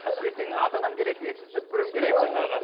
ертең ата анам келеді ет пісіріп беруім керек жаңағы